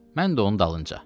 Mən də onun dalınca.